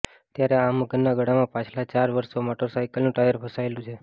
ત્યારે આ મગરના ગળામાં પાછાલા ચાર વર્ષો મોટરલાયકલનું ટાયર ફસાયેલુ છે